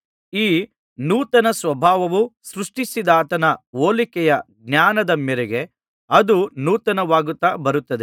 ಈ ನೂತನ ಸ್ವಭಾವವು ಸೃಷ್ಟಿಸಿದಾತನ ಹೋಲಿಕೆಯ ಜ್ಞಾನದ ಮೇರೆಗೆ ಅದು ನೂತನವಾಗುತ್ತಾ ಬರುತ್ತದೆ